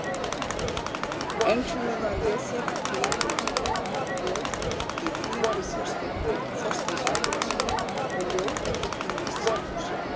Ennfremur var lesið víetnamskt ljóð í þýðingu Þorsteins Valdimarssonar og ljóð eftir Hannes Sigfússon.